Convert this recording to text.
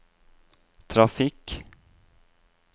trafikk